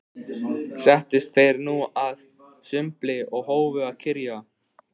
Settust þeir nú að sumbli og hófu að kyrja